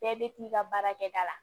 Bɛɛ bɛ t'i ka baarakɛda la